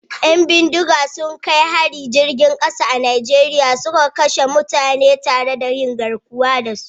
Yan bindiga sun kai hari jirgin kasa a Najeriya suna kashe mutane tare da yin garkuwa da su